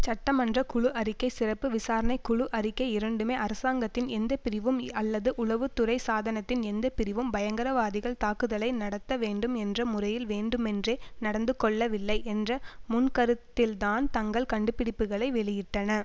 சட்டமன்ற குழு அறிக்கை சிறப்பு விசாரணை குழு அறிக்கை இரண்டுமே அரசாங்கத்தின் எந்தப்பிரிவும் அல்லது உளவு துறை சாதனத்தின் எந்தப்பிரிவும் பயங்கரவாதிகள் தாக்குதலை நடத்த வேண்டும் என்ற முறையில் வேண்டுமென்றே நடந்து கொள்ளவில்லை என்ற முன்கருத்தில்தான் தங்கள் கண்டுபிடிப்புக்களை வெளியிட்டன